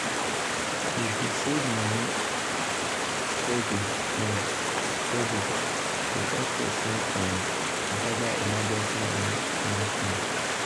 to dey save money steady um steady dey help person um gather emergency money small small.